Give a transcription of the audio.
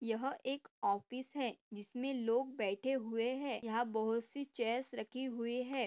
यह एक ऑफिस है इसमे लोग बैठे हुए है यहाँ बहुत सी चैअर्स रखी हुई है।